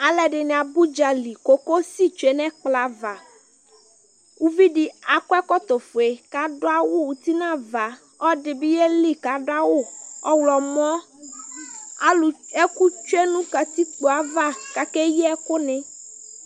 aloɛdini aba udzali kokosi tsue n'ɛkplɔ ava uvi di akɔ ɛkɔtɔ fue k'ado awu uti n'ava ɔloɛdi bi yeli k'ado awu ɔwlɔmɔ alò ɛkò tsue no katikpoe ava k'akeyi ɛkò ni